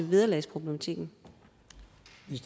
vederlagsproblematikken